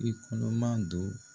I kɔnɔ ma do.